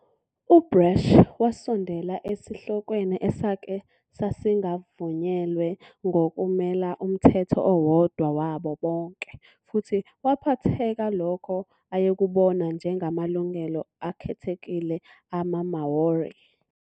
UBrash wasondela esihlokweni esake sasingavunyelwe ngokumela 'umthetho owodwa wabo bonke' futhi waphetha lokho ayekubona njengamalungelo akhethekile amaMāori.